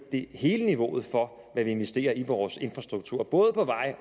hele niveauet for hvad vi investerer i vores infrastruktur både på